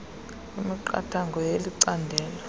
kwemiqathango yeli candelo